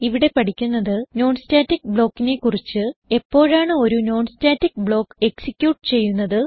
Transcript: ഇവിടെ പഠിക്കുന്നത് non static block നെ കുറിച്ച് എപ്പോഴാണ് ഒരു non സ്റ്റാറ്റിക് ബ്ലോക്ക് എക്സിക്യൂട്ട് ചെയ്യുന്നത്